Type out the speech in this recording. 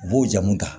U b'o jamu ta